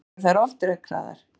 Kannski eru þær ofdekraðar?